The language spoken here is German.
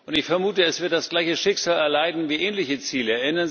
Ich vermute, es wird das gleiche Schicksal erleiden wie ähnliche Ziele.